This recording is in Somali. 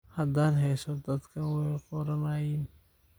Hadan heeso dadhkan way koronaayin.